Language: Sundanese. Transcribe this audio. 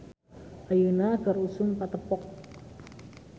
"Ayeuna keur usum patepok "